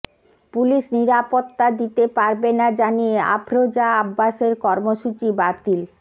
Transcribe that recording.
police নিরাপত্তা দিতে পারবে না জানিয়ে আফরোজা আব্বাসের কর্মসূচি বাতিল